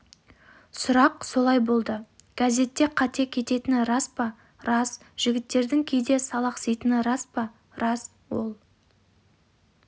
сұрақ солай болды газетте қате кететіні рас па рас жігіттердің кейде салақситыны рас па рас ол